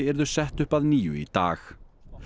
yrðu sett upp að nýju í dag